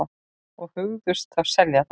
Og hugðust þá selja það.